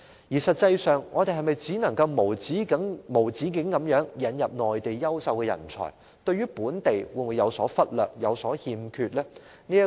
我們是否只能無止境引入內地優秀人才，而不理會本地人才或對他們有所虧欠呢？